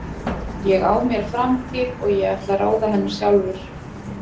Ég á mér framtíð og ég ætla að ráða henni sjálfur.